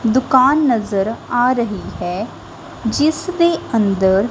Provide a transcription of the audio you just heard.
ਦੁਕਾਨ ਨਜ਼ਰ ਆ ਰਹੀ ਹੈ ਜਿਸ ਦੇ ਅੰਦਰ--